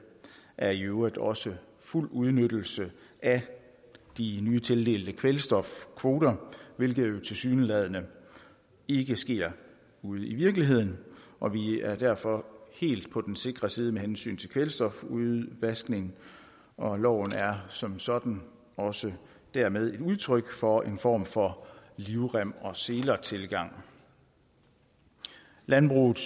er i øvrigt også fuld udnyttelse af de nytildelte kvælstofkvoter hvilket tilsyneladende ikke sker ude i virkeligheden og vi er derfor helt på den sikre side med hensyn til kvælstofudvaskning og loven er som sådan også dermed et udtryk for en form for livrem og seler tilgang landbrugets